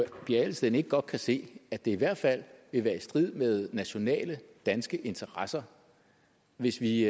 pia adelsteen ikke godt kan se at det i hvert fald vil være i strid med nationale danske interesser hvis vi